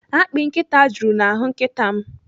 Akpị nkịta juru n'ahụ nkịta m.